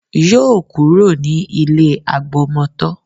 Yóò kúrò ní ilé agbọmọtọ́